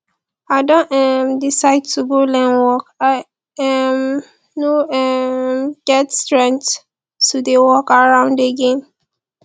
i don um decide to go learn work i um no um get strength to dey walk around again